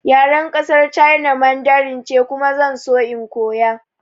Yaren ƙasar China Mandarin ce kuma zan so in koya